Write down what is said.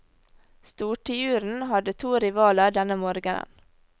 Stortiuren hadde to rivaler denne morgenen.